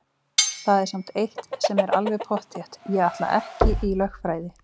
Það er samt eitt sem er alveg pottþétt: Ég ætla ekki í lögfræði!